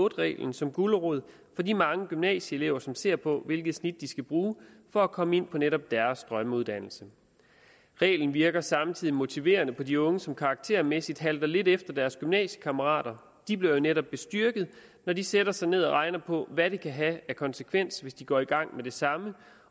reglen som gulerod for de mange gymnasieelever som ser på hvilke snit de skal bruge for at komme ind på netop deres drømmeuddannelse reglen virker samtidig motiverende på de unge som karaktermæssigt halter lidt efter deres gymnasiekammerater de bliver netop bestyrket når de sætter sig ned og regner på hvad det kan have af konsekvens hvis de går i gang med det samme